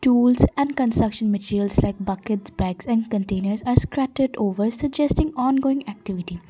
tools and construction materials like bucket bags and containers are scrapted over suggesting on going activity.